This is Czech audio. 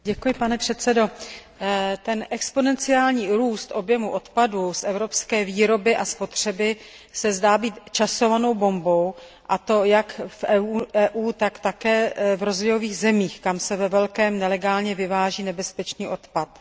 Pane předsedající, exponenciální růst objemu odpadu z evropské výroby a spotřeby se zdá být časovanou bombou, a to jak v Evropské unii, tak také v rozvojových zemích, kam se ve velkém nelegálně vyváží nebezpečný odpad.